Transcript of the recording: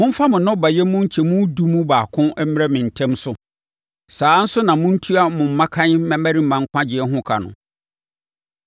“Momfa mo nnɔbaeɛ mu nkyɛ mu edu mu baako mmrɛ me ntɛm so. “Saa ara nso na montua mo mmakan mmarima nkwagyeɛ ho ka no.